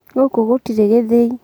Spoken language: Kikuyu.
Gũkũ gũtirĩ gĩthĩi.